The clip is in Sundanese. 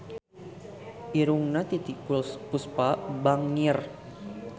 Irungna Titiek Puspa bangir